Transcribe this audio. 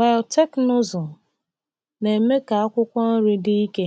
Biotekịnụzụ na-eme ka akwụkwọ nri dị ike,